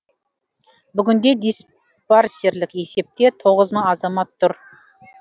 бүгінде диспарсерлік есепте тоғыз мың азамат тұр